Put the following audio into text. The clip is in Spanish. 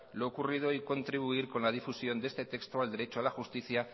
lo ocurrido y contribuir con la difusión de este texto al derecho a la justicia